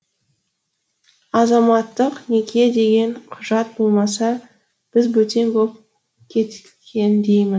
азаматтық неке деген құжат болмаса біз бөтен боп кеткендейміз